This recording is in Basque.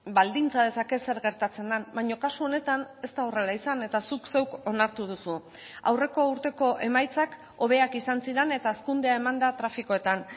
baldintza dezake zer gertatzen den baina kasu honetan ez da horrela izan eta zuk zeuk onartu duzu aurreko urteko emaitzak hobeak izan ziren eta hazkundea eman da trafikoetan